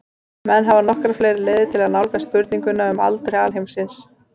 Menn hafa nokkrar fleiri leiðir til að nálgast spurninguna um aldur alheimsins.